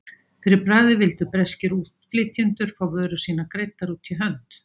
Fyrir bragðið vildu breskir útflytjendur fá vörur sínar greiddar út í hönd.